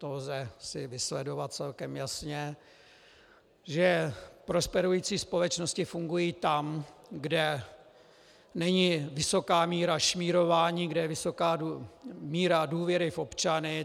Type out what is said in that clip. To si lze vysledovat celkem jasně, že prosperující společnosti fungují tam, kde není vysoká míra šmírování, kde je vysoká míra důvěry v občany.